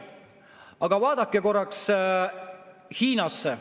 Aga vaadake korraks Hiinasse.